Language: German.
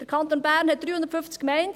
Der Kanton Bern hat 350 Gemeinden.